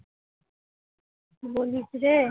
কি বলিস রে